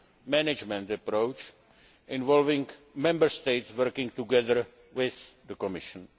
II management approach, involving Member States working together with the Commission.